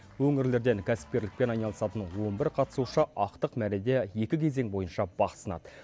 өңірлерден кәсіпкерлікпен айналысатын он бір қатысушы ақтық мәреде екі кезең бойынша бақ сынады